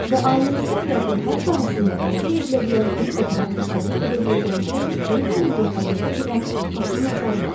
Və ailənizdə həyatın hər sahəsində əldə edilə bilən bir uğura təsəvvür edə biləcəyinizdən də böyük bir müvəffəqiyyətə gedən qapının açarı vardır.